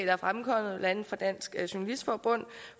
er fremkommet blandt andet fra dansk journalistforbund